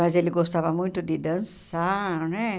Mas ele gostava muito de dançar, né?